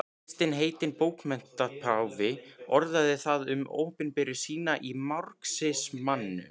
Kristinn heitinn bókmenntapáfi orðaði það um opinberun sína í marxismanum.